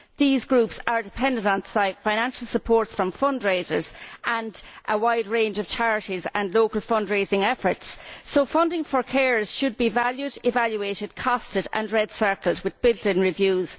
These groups are dependent on financial support from fundraisers and a wide range of charities and local fundraising efforts. So funding for carers should be valued, evaluated, costed and red circled, with built in reviews.